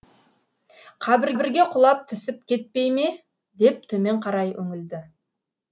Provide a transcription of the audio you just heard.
қабірге құлап түсіп кетпей ме деп төмен қарай үңілді